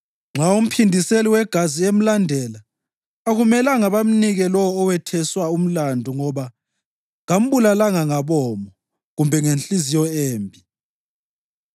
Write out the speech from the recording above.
Nxa umphindiseli wegazi emlandela, akumelanga bamnikele lowo owetheswa umlandu ngoba kambulalanga ngabomo kumbe ngenhliziyo embi.